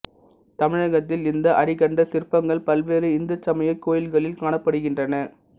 தமிழகத்தில் இந்த அரிகண்ட சிற்பங்கள் பல்வேறு இந்து சமய கோயில்களில் காணப்படுகின்றன